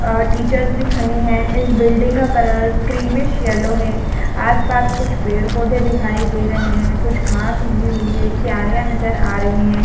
ए teachers भी खड़ी है इस बिल्डिंग का कलर क्रीमिश येलो है आस-पास कुछ पेड़-पौधे दिखाई दे रहे हैं कुछ घास उगी हुई है क्यारिया नजर आ रहे हैं।